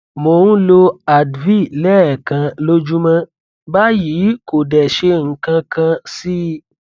mò ń lo advil lẹẹkan lójúmọ báyìí kò dẹ ṣe nǹkankan sí i